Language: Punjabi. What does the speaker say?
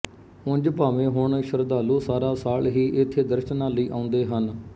ਉਂਜ ਭਾਵੇਂ ਹੁਣ ਸ਼ਰਧਾਲੂ ਸਾਰਾ ਸਾਲ ਹੀ ਇੱਥੇ ਦਰਸ਼ਨਾਂ ਲਈ ਆਉਂਦੇ ਹਨ